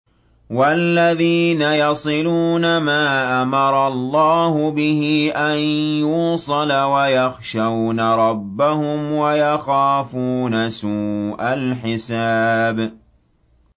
وَالَّذِينَ يَصِلُونَ مَا أَمَرَ اللَّهُ بِهِ أَن يُوصَلَ وَيَخْشَوْنَ رَبَّهُمْ وَيَخَافُونَ سُوءَ الْحِسَابِ